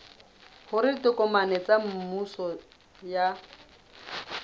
hore ditokomane tsa mmuso ha